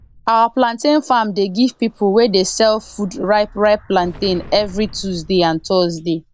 our plantain farm dey give pipu wey dey sell food ripe ripe plantain everi tuesday and thursday